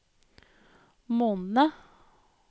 månedene